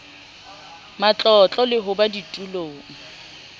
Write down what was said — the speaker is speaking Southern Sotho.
matlotlo le ho ba ditulong